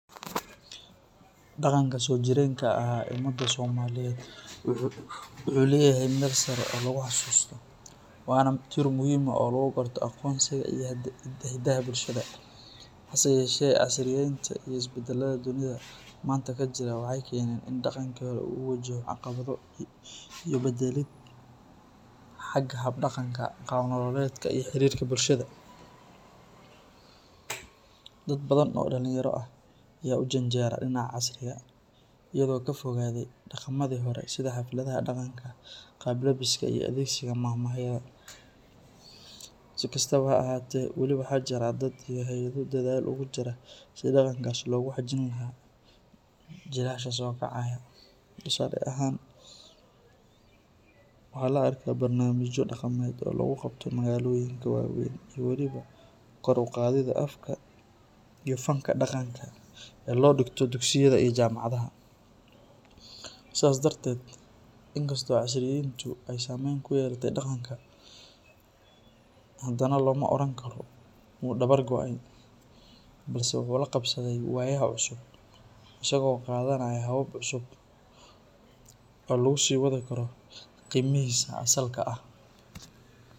Dhaqanka soojireenka ahaa ee ummadda Soomaaliyeed wuxuu leeyahay meel sare oo lagu xasuusto, waana tiir muhiim ah oo lagu garto aqoonsiga iyo hiddaha bulshada. Hase yeeshee, casriyeynta iyo isbeddelada dunida maanta ka jira waxay keeneen in dhaqankii hore uu wajaho caqabado iyo beddelid xagga hab-dhaqanka, qaab-nololeedka iyo xiriirka bulshada. Dad badan oo dhalinyaro ah ayaa u janjeera dhinaca casriga, iyagoo ka fogaaday dhaqammadii hore sida xafladaha dhaqanka, qaab labiska, iyo adeegsiga maahmaahyada. Si kastaba ha ahaatee, weli waxaa jira dad iyo hay’ado dadaal ugu jira sidii dhaqankaas loogu xajin lahaa jiilasha soo kacaya. Tusaale ahaan, waxaa la arkaa barnaamijyo dhaqameed oo lagu qabto magaalooyinka waaweyn iyo weliba kor u qaadidda afka iyo fanka dhaqanka ee la dhigto dugsiyada iyo jaamacadaha. Sidaas darteed, inkastoo casriyeyntu ay saameyn ku yeelatay dhaqanka, haddana looma oran karo wuu dabar go’ay, balse wuxuu la qabsaday waayaha cusub isagoo qaadanaya habab cusub oo lagu sii wadi karo qiimihiisa asalka ah.